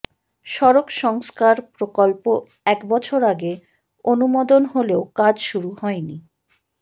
সড়ক সংস্কার প্রকল্প এক বছর আগে অনুমোদন হলেও কাজ শুরু হয়নি